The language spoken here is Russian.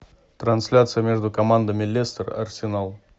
трансляция между командами лестер арсенал